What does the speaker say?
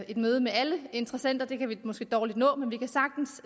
et møde med alle interessenter for det kan vi måske dårligt nå men vi kan sagtens